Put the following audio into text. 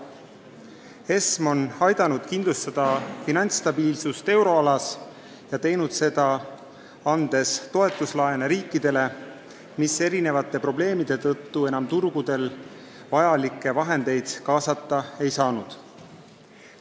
ESM on aidanud kindlustada finantsstabiilsust euroalas ja teinud seda, andes toetuslaene riikidele, kes erinevate probleemide tõttu enam turgudelt vajalikke vahendeid kaasata ei saanud.